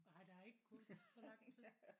Nej der er ikke gået så lang tid